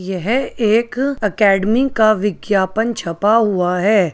यह एक अकैडमी का विज्ञापन छपा हुआ है।